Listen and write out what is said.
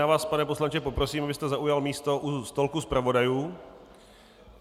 Já vás, pane poslanče, poprosím, abyste zaujal místo u stolku zpravodajů.